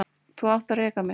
Þá átti að reka mig.